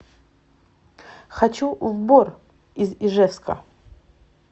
хочу в бор из ижевска